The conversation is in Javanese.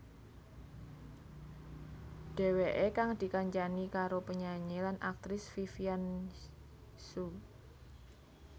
Dheweké kang dikancani karo penyanyi lan aktris Vivian Hsu